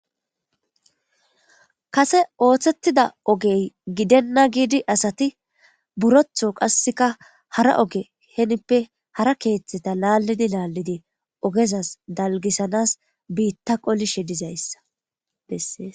kase ooththettida ogey gidenna giidi asati burotho qasseka hara oge henippe hara keeththeta laallidi laallidi ogezas dalgisanas biitta qolishe dizayssa bessees